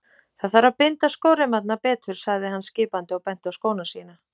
Það þarf að binda skóreimarnar betur sagði hann skipandi og benti á skóna sína.